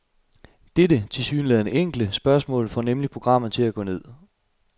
Dette, tilsyneladende enkle, spørgsmål får nemlig programmet til at gå ned.